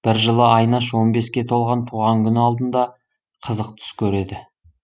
бір жылы айнаш он беске толған туған күні алдында қызық түс көреді